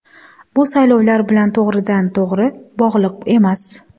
Bu saylovlar bilan to‘g‘ridan-to‘g‘ri bog‘liq emas.